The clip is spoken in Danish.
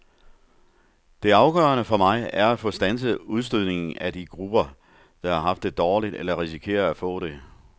Det afgørende for mig er at få standset udstødningen af de grupper, der har haft det dårligt eller risikerer at få det.